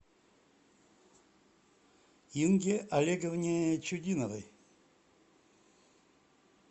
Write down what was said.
инге олеговне чудиновой